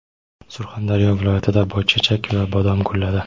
Surxondaryo viloyatida boychechak va bodom gulladi.